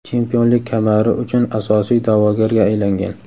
chempionlik kamari uchun asosiy da’vogarga aylangan;.